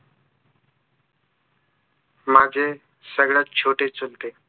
माझे सगळ्यात छोटे चुलते